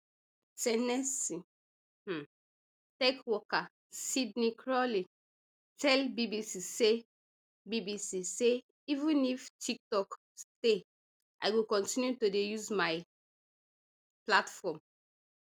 ten nessee um tech worker sydney crawley tell bbc say bbc say even if tiktok stay i go kontinu to dey use my platform